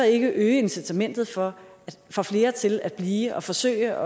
ikke øge incitamentet for for flere til at blive og forsøge